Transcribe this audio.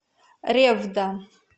ревда